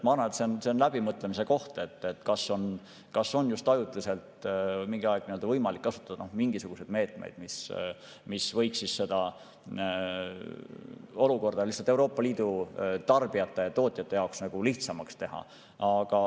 Ma arvan, et see on läbimõtlemise koht, kas praegu on ajutiselt mingi aeg võimalik kasutada mingisuguseid meetmeid, mis võiks olukorda Euroopa Liidu tarbijate ja tootjate jaoks lihtsamaks teha.